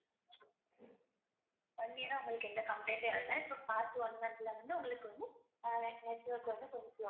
one year ஆ உங்களக்கு எந்த complaint எ வரல உங்களுக்கு வந்து ஆஹ் நெட்ஒர்க் வந்து கொஞ்சம்